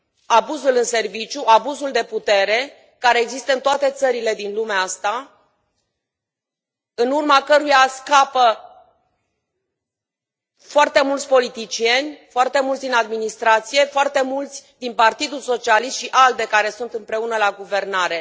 abuzul în serviciu, abuzul de putere care există în toate țările din lumea asta, în urma căruia scapă foarte mulți politicieni, foarte mulți din administrație, foarte mulți din Partidul Socialist și ALDE care sunt împreună la guvernare.